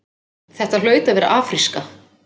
Þetta hlaut að vera afríska.